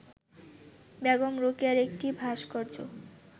বেগম রোকেয়ার একটি ভাস্কর্য